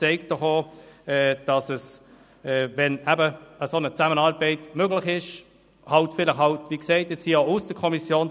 Das zeigt doch, dass eine solche Zusammenarbeit möglich ist mit einer Lösung aus der Kommission.